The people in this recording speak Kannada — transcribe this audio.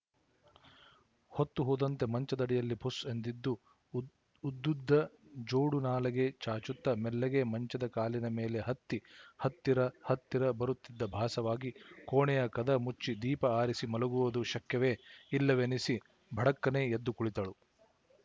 ಹೊತ್ತುಹೋದಂತೆ ಮಂಚದಡಿಯಲ್ಲಿ ಫುಸ್ ಎಂದದ್ದು ಉದ್ದುದ್ದ ಜೋಡುನಾಲಗೆ ಚಾಚುತ್ತ ಮೆಲ್ಲಗೆ ಮಂಚದ ಕಾಲಿನ ಮೇಲೆ ಹತ್ತಿ ಹತ್ತಿರ ಹತ್ತಿರ ಬರುತ್ತಿದ್ದ ಭಾಸವಾಗಿ ಕೋಣೆಯ ಕದ ಮುಚ್ಚಿ ದೀಪ ಆರಿಸಿ ಮಲಗುವುದು ಶಕ್ಯವೇ ಇಲ್ಲವೆನಿಸಿ ಭಡಕ್ಕನೆ ಎದ್ದು ಕುಳಿತಳು